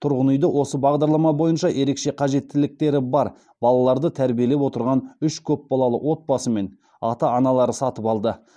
тұрғын үйді осы бағдарлама бойынша ерекше қажеттіліктері бар балаларды тәрбиелеп отырған үш көпбалалы отбасы мен ата аналар сатып алды